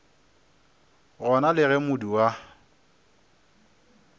gona le ge modu wa